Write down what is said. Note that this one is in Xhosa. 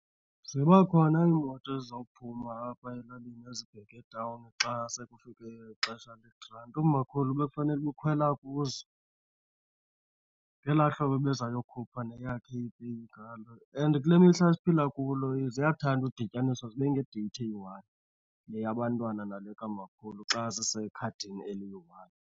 Ziba khona iimoto ezizawuphuma apha elalini ezibheka etawuni xa sekufike ixesha legranti. Umakhulu bekufanele uba ukhwela kuzo ngelaa hlobo ebeza yokhupha neyakhe ipeyi ngalo. And kule mihla siphila kulo ziyathanda udityaniswa zibe nedeyithi eyi one, le yabantwana nale kamakhulu xa zisekhadini eliyi one.